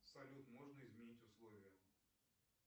салют можно изменить условия